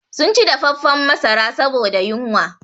Sun ci dafaffan masara saboda yunwa